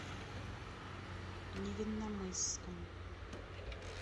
невинномысском